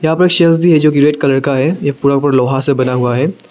यहां पर शेल्व्स भी है जो की रेड कलर का है ये पूरा का पूरा लोहा से बना हुआ है।